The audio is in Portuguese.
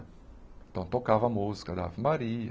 Então, tocava a música da Ave Maria,